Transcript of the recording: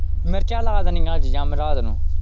ਮਿਰਚਾਂ ਲਾ ਦੇਣੀਆਂ ਅੱਜ ਜਾਂ ਮੈਂ ਰਾਤ ਨੂੰ।